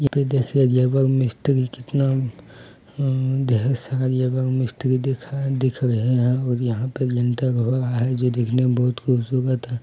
यहाँ पे देखिये लेबर मिस्त्री कितना अम्म ढ़ेर सारी एवं मिस्त्री दिखाई दिख रहे हैं और यहाँ पे जनता घोड़ा है जो देखने में बहुत खूबसूरत है।